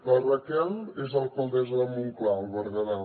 la raquel és alcaldessa de montclar al berguedà